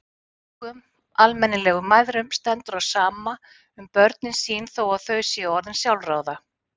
Engum almennilegum mæðrum stendur á sama um börnin sín þó að þau séu orðin sjálfráða.